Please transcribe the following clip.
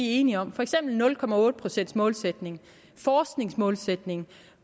enige om for eksempel nul procents målsætningen forskningsmålsætningen